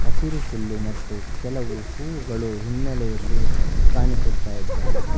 ಹಸಿರು ಹುಲ್ಲು ಮತ್ತು ಕೆಲವು ಹೂವುಗಳು ಹಿನ್ನಲೆಯಲ್ಲಿ ಕಾಣಿಸುತ್ತಾಯಿದ್ದಾವೆ.